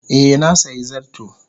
Eh, na sayi zarto.